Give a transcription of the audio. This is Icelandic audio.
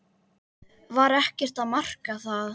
Var ekkert að marka það?